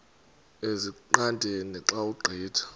ezingqaqeni xa ugqitha